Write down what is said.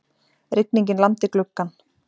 Rigningin lamdi gluggann.